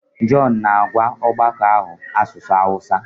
John na-agwa ọgbakọ ahụ asụsụ Hausa.